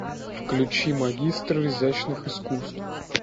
включи магистр изящных искусств